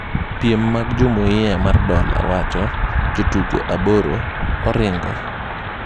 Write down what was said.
Piem mag Jumuia mar Dola:Jotugo aboro 'oringo'